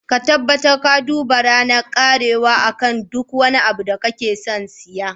Ka tabbatar ka duba ranar karewa akan duk wani abu da kake son siya.